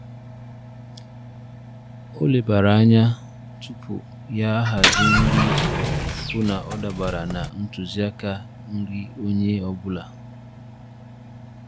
Ọ lebara anya tupu ya ahazi nri iji hụ na ọ dabara na ntuziaka nri onye ọ bụla.